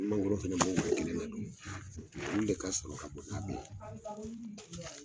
Mangoro fɛnɛ bɔ ka don olu de ka sɔrɔ ka bon n'a bɛ ye